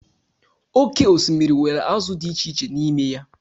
oké osimiri nwere azụ di echiche n'ime ya.